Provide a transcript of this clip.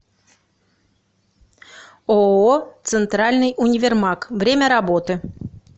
ооо центральный универмаг время работы